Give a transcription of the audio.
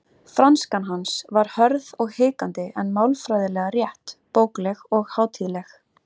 Franskan hans var hörð og hikandi en málfræðilega rétt, bókleg og hátíðleg.